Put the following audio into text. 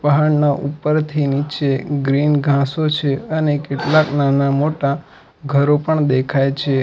પહાડ ના ઉપરથી નીચે ગ્રીન ઘાંસો છે અને કેટલાક નાના મોટા ઘરો પણ દેખાય છે.